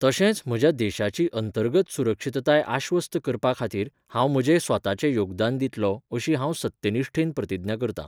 तशेंच म्हज्या देशाची अंतर्गत सुरक्षीतताय आश्वस्त करपा खातीर हांव म्हजें स्वताचें योगदान दितलों अशीं हांव सत्यनिश्ठेन प्रतिज्ञा करतां.